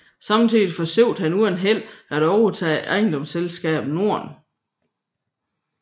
Samtidig forsøgte han uden held at overtage Ejendomsselskabet Norden